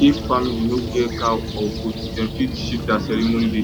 if family no get cow or goat dem fit shift their ceremony date